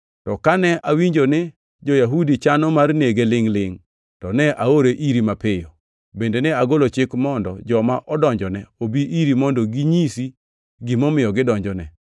To kane awinjo ni jo-Yahudi chano mar nege lingʼ-lingʼ, to ne aore iri mapiyo. Bende ne agolo chik mondo joma odonjone obi iri mondo ginyisi gimomiyo gidonjone.